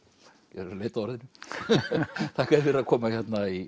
ég er að leita að orðinu þakka þér fyrir að koma hérna í